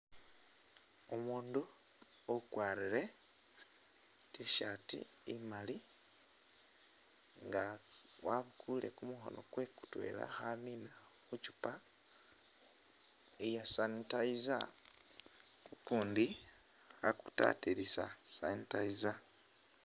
Umundu ukwarire tshirt imali nga wabukule kumukhono kwe mutwela khamina mukyupa iya sanitizer ukundi akutatilisa sanitizer .